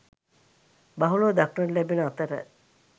බහුලව දක්නට ලැබෙන අතර